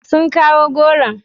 Sun kawo goron?